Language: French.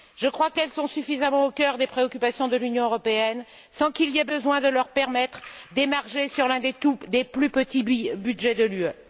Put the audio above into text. Je crois qu'elles sont suffisamment au cœur des préoccupations de l'Union européenne sans qu'il y ait besoin de leur permettre d'émarger à l'un des plus petits budgets de l'UE.